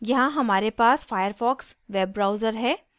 यहाँ हमारे पास firefox web browser है